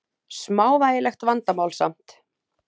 Smávægilegt vandamál samt.